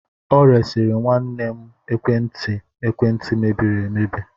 O resịrị nwanne m ekwentị ekwentị mebiri emebi